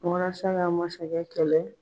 Walasa ka masakɛ kɛlɛ